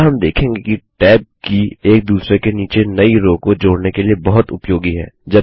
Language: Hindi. अतः हम देखेंगे कि Tab की एक दूसरे के नीचे नई रो को जोड़ने के लिए बहुत उपयोगी है